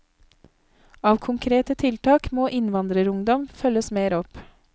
Av konkrete tiltak må innvandrerungdom følges mer opp.